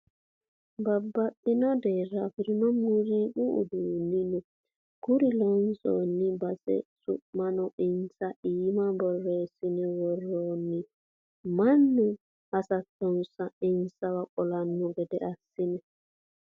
Babbaxxino deera afirino muziiqu uduunu no kuri loonsanni base su'mano insa iima borreessine woranni mannu hasattonsa insawa qollano gede assine.